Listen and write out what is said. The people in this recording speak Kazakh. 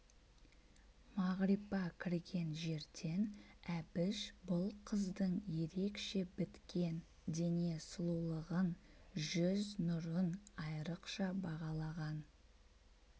мағрипа кірген жерден әбіш бұл қыздың ерекше біткен дене сұлулығын жүз нұрын айрыкша бағалаған